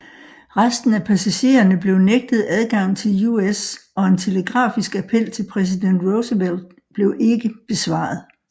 Resten af passagererne blev nægtet adgang til US og en telegrafisk appel til præsident Roosevelt blev ikke besvaret